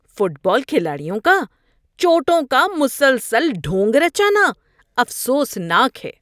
fit بال کھلاڑیوں کا چوٹوں کا مسلسل ڈھونگ رچانا افسوسناک ہے